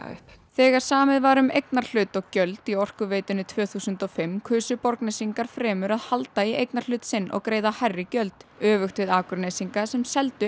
upp þegar samið var um eignarhlut og gjöld í Orkuveitunni tvö þúsund og fimm kusu Borgnesingar fremur að halda í eignarhlut sinn og greiða hærri gjöld öfugt við Akurnesinga sem seldu